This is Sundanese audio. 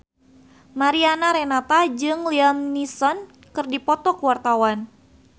Mariana Renata jeung Liam Neeson keur dipoto ku wartawan